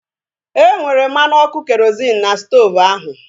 E nwere mmanụ ọkụ kerozịn n'stoovu ahu